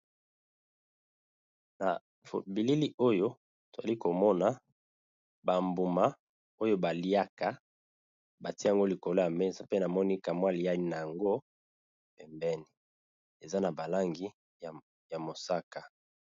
Na bilili oyo tozali komona bambuma oyo baliaka batiyango likolo ya mesa. Pe na moni kamwa yana yango pembeni eza na balangi ya mosaka.